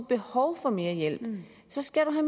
behov for mere hjælp skal